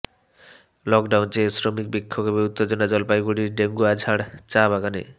lockdown চেয়ে শ্রমিক বিক্ষোভে উত্তেজনা জলপাইগুড়ির ডেঙ্গুয়াঝাড় চা বাগানে